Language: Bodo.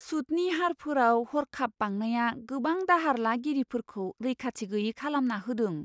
सुतनि हारफोराव हर्खाब बांनाया गोबां दाहार लागिरिफोरखौ रैखाथि गैयै खालामना होदों!